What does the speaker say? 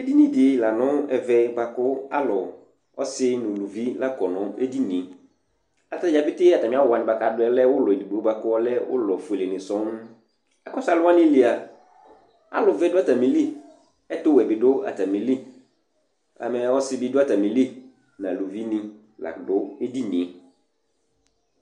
Ɛdɩnɩ dɩ la nʋ ɛvɛ bʋa kʋ alʋ ɔsɩ nʋ uluvi la kɔ nʋ edini yɛ ata dza petee atamɩ awʋ wanɩ kʋ adʋ yɛ lɛ ʋlɔ edigbo bʋa kʋ ɔlɛ ofuelenɩ sɔŋ Akɔsʋ alʋ wanɩ li a, alʋvɛ dʋ atamɩli, ɛtʋwɛ bɩ dʋ atamɩli Ɛmɛ ɔsɩ bɩ dʋ atamɩli nʋ aluvinɩ la dʋ edini yɛ